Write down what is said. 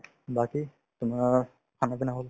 বাকি তোমাৰ khana pina হল